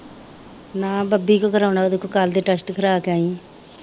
ਨਾ ਬਬੀ ਕੋ ਕਰਾਉਣਾ ਓਦੇ ਕੋ ਕੱਲ ਦੇ ਟੈਸਟ ਕਰਾ ਕੇ ਆਈ ਆ